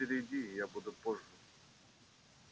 а теперь иди я буду позже